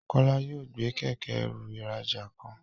Kola yóò gbé Kẹ̀kẹ́-ẹrù ìrajà kan.